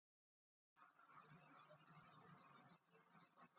Marta klóraði sér ákaft í olnbogabótinni.